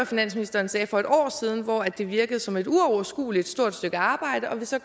finansministeren sagde for et år siden hvor det virkede som et uoverskuelig stort stykke arbejde og vi så